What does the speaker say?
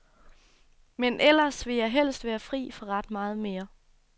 Men ellers vil jeg helst være fri for ret meget mere.